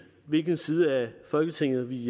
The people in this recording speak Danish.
hvilken side af folketinget vi